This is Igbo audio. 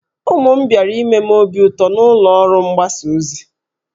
Ụmụ m bịara ime m obi ụtọ na ụlọ ọrụ mgbasa ozi